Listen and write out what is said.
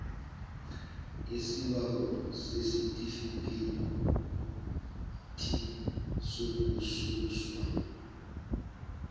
isibawo sesitifikhethi sokususwa